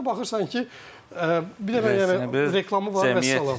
Bizdə baxırsan ki, bir dənə yəni reklamı var vəssalam.